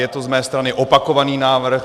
Je to z mé strany opakovaný návrh.